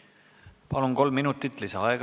Palun aega juurde!